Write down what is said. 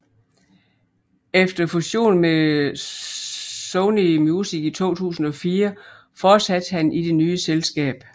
Efter fusion med Sony Music i 2004 fortsatte han i det nye selskab